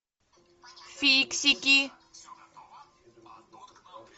фиксики